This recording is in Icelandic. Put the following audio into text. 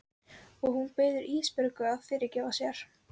Og hún biður Ísbjörgu að fyrirgefa sér.